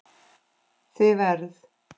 Þið verð